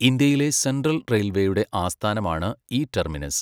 ഇന്ത്യയിലെ സെൻട്രൽ റെയിൽവേയുടെ ആസ്ഥാനമാണ് ഈ ടെർമിനസ്.